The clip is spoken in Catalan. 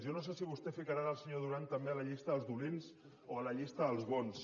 jo no sé si vostè ficarà el senyor duran també a la llista dels dolents o a la llista dels bons